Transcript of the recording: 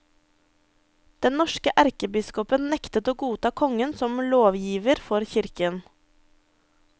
Den norske erkebiskopen nektet å godta kongen som lovgiver for kirken.